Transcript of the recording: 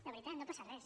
de veritat no passa res